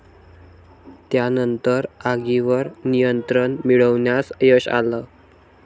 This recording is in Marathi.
त्यानंतर आगीवर नियंत्रण मिळवण्यास यश आलं.